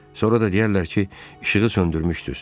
Sonra da deyərlər ki, işığı söndürmüşdüz.